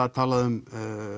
er talað um